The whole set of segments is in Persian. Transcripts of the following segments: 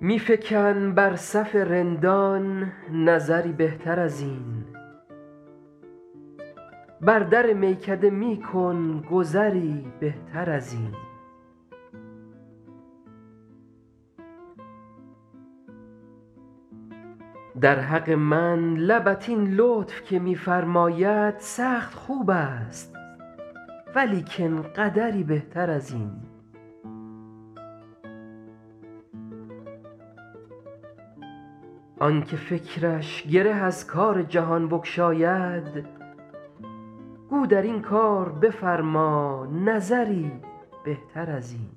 می فکن بر صف رندان نظری بهتر از این بر در میکده می کن گذری بهتر از این در حق من لبت این لطف که می فرماید سخت خوب است ولیکن قدری بهتر از این آن که فکرش گره از کار جهان بگشاید گو در این کار بفرما نظری بهتر از این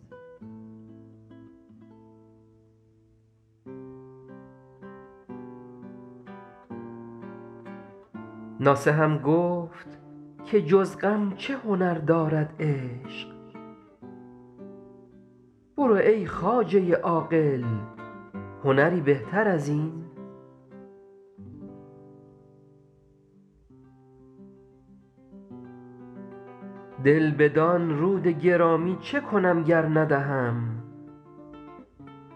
ناصحم گفت که جز غم چه هنر دارد عشق برو ای خواجه عاقل هنری بهتر از این دل بدان رود گرامی چه کنم گر ندهم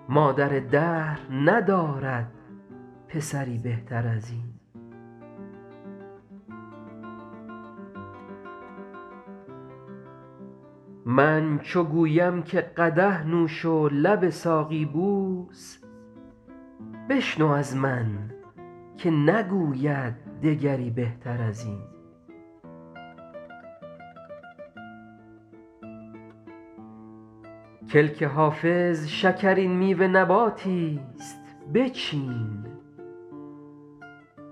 مادر دهر ندارد پسری بهتر از این من چو گویم که قدح نوش و لب ساقی بوس بشنو از من که نگوید دگری بهتر از این کلک حافظ شکرین میوه نباتی ست بچین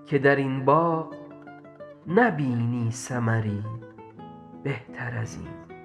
که در این باغ نبینی ثمری بهتر از این